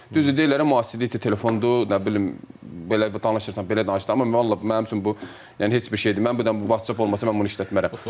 Düzdür deyirlər müasirlikdir, telefondur, nə bilim belə danışırsan, belə danışırsan, amma vallah mənim üçün bu yəni heç bir şey deyil. Mən bu WhatsApp olmasa mən bunu işlətmərəm.